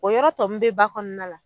O yɔrɔ tɔ mun be ba kɔnɔna la